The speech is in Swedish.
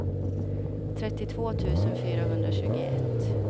trettiotvå tusen fyrahundratjugoett